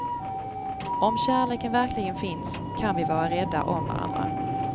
Om kärleken verkligen finns, kan vi vara rädda om varandra.